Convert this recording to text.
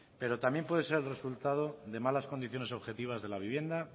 pero también puede ser el resultado de malas condiciones objetivas de la vivienda